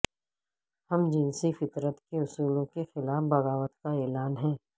ہم جنسی فطرت کے اصولوں کے خلاف بغاوت کااعلان ہے